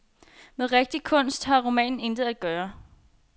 Med rigtig kunst har romanen intet at gøre.